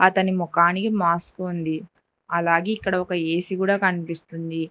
అతని మోకానికి మాస్క్ ఉంది అలాగే ఇక్కడ ఒక ఏసీ కుడా కనిపిస్తుంది.